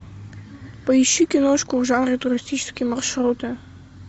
поищи киношку в жанре туристические маршруты